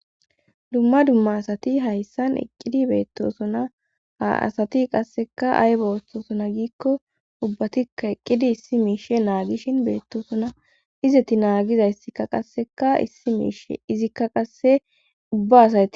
dumma dumma asati hayssan eqqidi beettosona ha asati qasseka aybowoththosona giikko ubbatikka eqqidi issi miishe naagishin beettosona izetti naagizayssikka qasseka issi miishe izikka qasse ubba asay